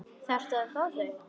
Þarftu að fá þau?